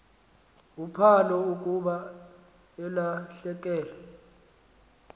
uphalo akuba elahlekelwe